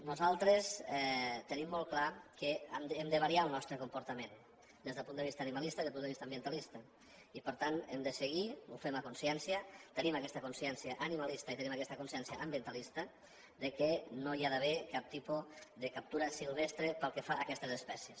nosaltres tenim molt clar que hem de variar el nostre comportament des del punt de vista animalista i des del punt de vista ambientalista i per tant hem de seguir ho fem a consciència tenim aquesta consciència animalista i tenim aquesta consciència ambientalista que no hi ha d’haver cap tipus de captura silvestre pel que fa a aquestes espècies